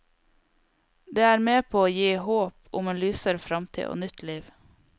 Det er med på å gi håp om en lysere framtid og nytt liv.